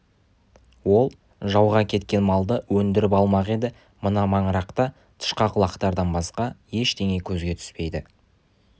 ол жауға кеткен малды өндіріп алмақ еді мына маңырақта тышқақ лақтардан басқа ештеңе көзге түспейді